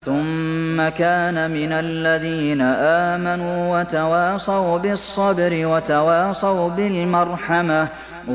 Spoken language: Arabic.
ثُمَّ كَانَ مِنَ الَّذِينَ آمَنُوا وَتَوَاصَوْا بِالصَّبْرِ وَتَوَاصَوْا بِالْمَرْحَمَةِ